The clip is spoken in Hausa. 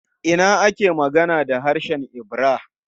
A ina ake magana da harshen Ibira?